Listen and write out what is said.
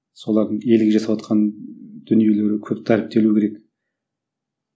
солардың ерлік жасаватқан дүниелері көп дәріптелу керек